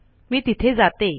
मी तिथे जाते